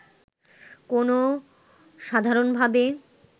কোনও সাধারণভাবে